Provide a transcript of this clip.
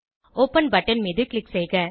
open button மீது click செய்க